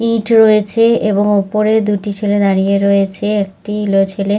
ইট রয়েছে এবং উপরে দুটি ছেলে দাঁড়িয়ে রয়েছে। একটি ইলো ছেলে--